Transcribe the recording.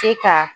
Se ka